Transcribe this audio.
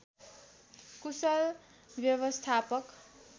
कुशल व्यवस्थापक